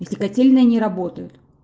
если котельные не работает